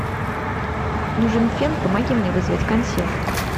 нужен фен помоги мне вызвать консьержа